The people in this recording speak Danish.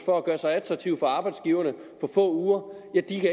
for at gøre sig attraktive for arbejdsgiverne